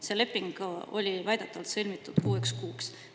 See leping oli väidetavalt sõlmitud kuueks kuuks.